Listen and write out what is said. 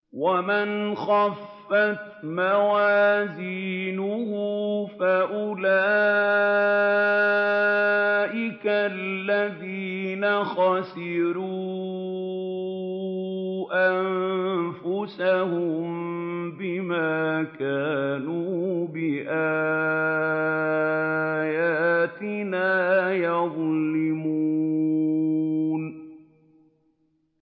وَمَنْ خَفَّتْ مَوَازِينُهُ فَأُولَٰئِكَ الَّذِينَ خَسِرُوا أَنفُسَهُم بِمَا كَانُوا بِآيَاتِنَا يَظْلِمُونَ